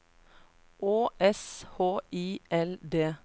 Å S H I L D